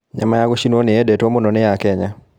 Nyama ya gũcinũo nĩyendetũo mũno nĩ akenya.